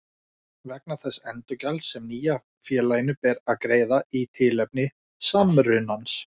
vegna þess endurgjalds sem nýja félaginu ber að greiða í tilefni samrunans.